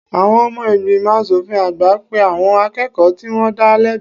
Àwọn ọmọ ìgbìmọ̀ aṣòfin àgbà pe àwọn akẹ́kọ̀ọ́ tí wọ́n dá lẹ́bi